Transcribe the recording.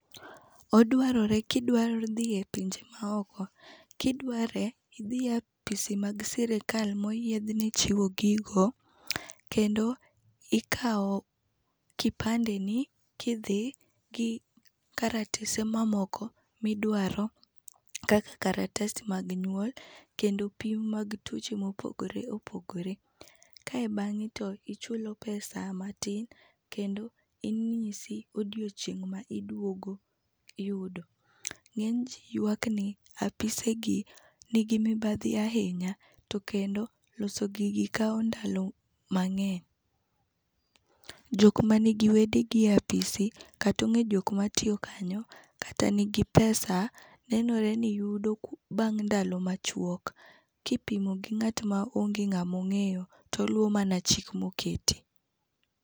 Odwarore kidwa dhie pinje maoko. Kidware idhie ofis mag sirikal moyiedhne chiwo gigo. Kendo ikaw kipande ni kidhi gi karatese mamoko miduaro kaka karatas mag nyuol kendo pim mag tuoche mopogore opogore. Kae bang'e to ichulo pesa matin kendo inyisi odiochieng' ma iduogo yudo. Ng'ey ji yuak ni ofise gi nigi mibadhi ahinya. To kendo, loso gigi kawo ndalo mang'eny. Jok manigi wedegi e ofisi kata ong'eyo jok matiyo kanyo kata nigi pesa nenore ni yudo bang' ndalo machuok kipimo gi ng'at ma onge ng'ama ong'eyo to oluwo mana chik moketi.